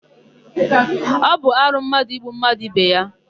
Ọ bụ arụ mmadụ igbu mmadụ ibe ya.